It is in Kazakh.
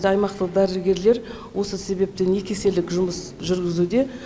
аймақтық дәрігерлер осы себептен екі еселік жұмыс жүргізуде